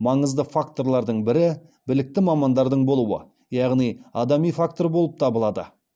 маңызды факторлардың бірі білікті мамандардың болуы яғни адами фактор болып табылады